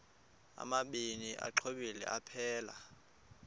amabini exhobe aphelela